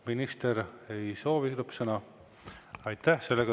Minister ei soovi lõppsõna?